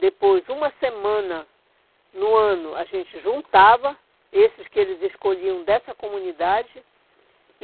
Depois, uma semana no ano, a gente juntava esses que eles escolhiam dessa comunidade.